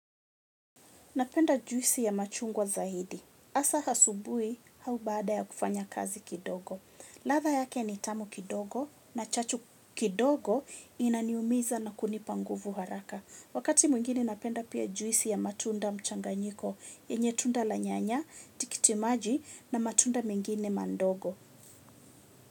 Napenda juisi ya machungwa zaidi. Asa asubui au baada ya kufanya kazi kidogo. Ladha yake ni tamu kidogo na chachu kidogo inaniumiza na kunipa nguvu haraka. Wakati mwingine napenda pia juisi ya matunda mchanganyiko yenye tunda la nyanya, tikitimaji na matunda mengine mandogo.